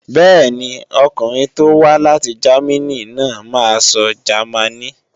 Bẹ́ẹ̀ni, ọkùnrin tó wá láti Jámínì náà máa sọ Jámánì.